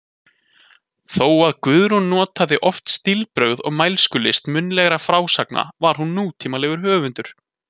Þó að Guðrún notaði oft stílbrögð og mælskulist munnlegrar frásagnar var hún nútímalegur höfundur.